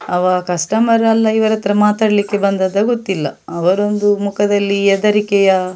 ಅವ ಕಸ್ಟಮರ ಅಲ್ಲ ಇವರ ಹತ್ರ ಮಾತಾಡ್ಲಿಕ್ಕೆ ಬಂದದ್ದ ಗೊತ್ತಿಲ್ಲ ಅವರೊಂದು ಮುಖದಲ್ಲಿ ಹೆದರಿಕೆಯ --